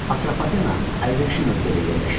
Atropatena əlverişli mövqedə yerləşirdi.